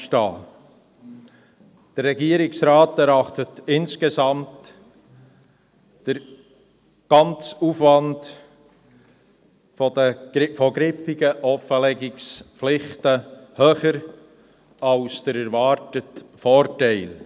Insgesamt erachtet der Regierungsrat den ganzen Aufwand griffiger Offenlegungspflichten als höher als den erwarteten Vorteil.